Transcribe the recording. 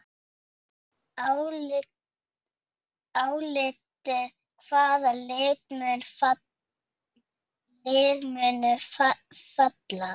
Álitið: Hvaða lið munu falla?